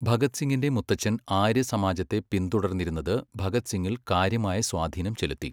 ഭഗത് സിംഗിന്റെ മുത്തച്ഛൻ ആര്യസമാജത്തെ പിന്തുടർന്നിരുന്നത് ഭഗത് സിങ്ങിൽ കാര്യമായ സ്വാധീനം ചെലുത്തി.